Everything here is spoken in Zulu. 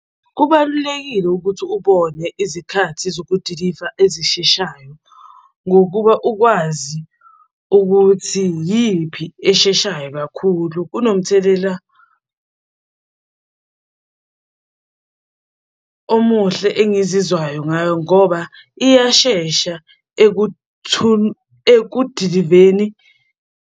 Kubalulekile ukuthi ubone izikhathi zokudiliva ezisheshayo ngokuba ukwazi ukuthi iyiphi esheshayo kakhulu kunomthelela omuhle engizizwayo ngayo ngoba iyashesha ekudiliveni.